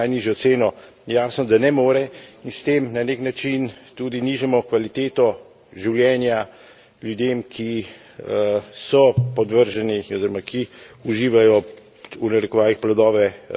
Jasno, da ne more, in s tem na nek način tudi nižamo kvaliteto življenja ljudem, ki so podvrženi oziroma ki uživajo, v narekovajih, plodove javnih naročil.